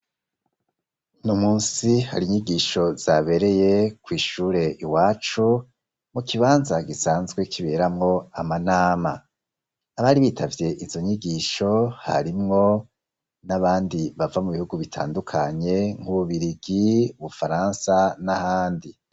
Uno munsi hari inyigisho zabereye ku ishure iwacu mu kibanza gisanzwe kiberamo amanama. Abari bitavye izo nyigisho harimwo n'abandi bava mu bihugu bitandukanye nk'ububirigi ubufaransa n'ahandi.